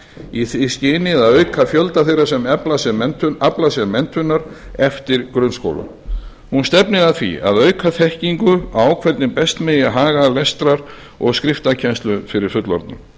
í því skyni að auka fjölda þeirra sem afla sér menntunar eftir grunnskóla hún stefnir og að því að auka þekkingu á hvernig best megi haga lestrar og skriftarkennslu fyrir fullorðna